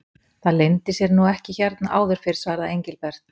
Það leyndi sér nú ekki hérna áður fyrr svaraði Engilbert.